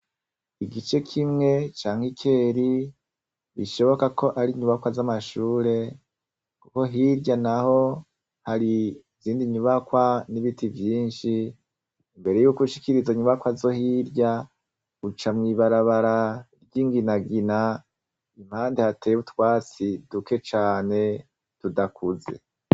Igice kimwe ca Mikeri gishoboka ko ar'inyubakwa z'amashure kuko hirya naho hari izindi nyubakwa n'biti vyinshi. Imbere yuko ushikira izo nyubakwa zo hirya uca mw'ibarabara ry'inginagina impande hateye utwatsi duke cane tudakuze.